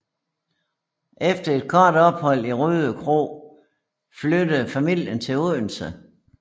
Efter et kort ophold i Rødekro flyttede familien til Odense